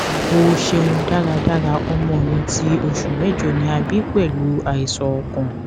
o ṣeun daradara ọmọ mi ti oṣu mẹjọ ni a bi pẹlu aisan ọkàn